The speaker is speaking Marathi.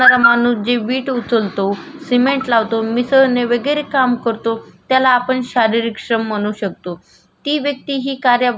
ती वेयक्ति हि आपण कार्य कार्यात बुद्धीचा पण वापर करते. पण मुख्य ती वैयक्ति आपल्या शरीराला कष्टस देत असते.हो बरोबर आहे.